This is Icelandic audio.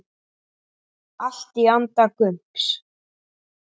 Allt í anda Gumps.